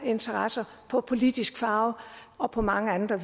interesser politisk farve og på mange andre